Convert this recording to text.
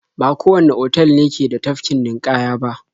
Ba kowanne otal ne ke da tafkin ninƙaya ba.